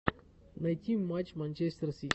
найти матч манчестер сити